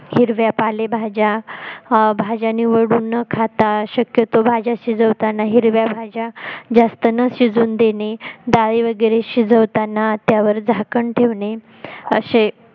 हिरव्या पालेभाज्या भाज्या निवडून न खाता शक्यतो भाज्या शिजवताना हिरव्या भाज्या जास्त न शिजून देणे डाळी वैगरे शिजवतांना त्यावर झाकण ठेवणे असे